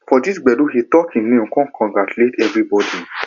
for di gbedu he talk him name con congratulate evribodi